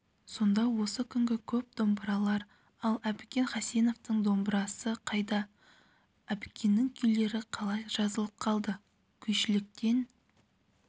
сонда осы күнгі көп домбыралар ал әбікен хасеновтің домбырасы қайда әбікеннің күйлері қалай жазылып қалды күйшіліктен